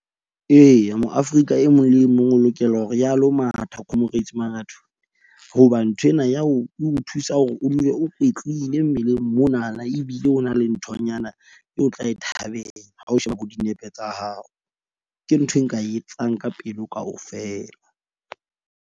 Eya mo-Afrika e mong le e mong o lokela hore a lo matha Comrades Marathon. Hoba nthwena ya o thusa hore o dule o kwetlile mmeleng monana. Ebile o na le nthonyana eo o tla e thabela. Ha o sheba bo dinepe tsa hao, ke ntho e nka e etsang ka pelo kaofela.